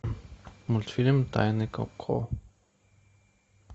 мультфильм тайны коко